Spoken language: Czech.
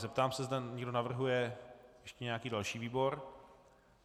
Zeptám se, zda někdo navrhuje ještě nějaký další výbor.